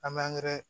An bɛ